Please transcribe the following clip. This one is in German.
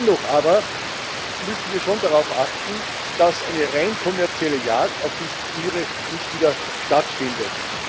Dennoch müssen wir schon darauf achten, dass eine rein kommerzielle Jagd auf diese Tiere nicht wieder stattfindet.